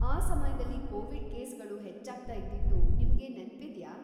ಆ ಸಮಯ್ದಲ್ಲಿ ಕೋವಿಡ್‌ ಕೇಸ್‌ಗಳು ಹೆಚ್ಚಾಗ್ತಾ ಇದ್ದಿದ್ದು ನಿಮ್ಗೆ ನೆನ್ಪಿದ್ಯಾ?